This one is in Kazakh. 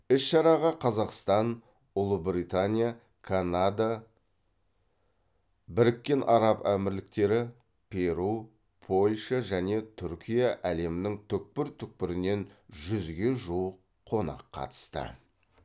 іс шараға қазақстан ұлыбритания канада біріккен араб әмірліктері перу польша және түркия әлемнің түкпір түкпірінен жүзге жуық қонақ қатысты